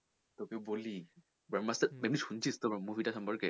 তোকে বলি ব্রহ্মাস্ত্র এমনি শুনেছিস তো তোর movie টার সম্পর্কে?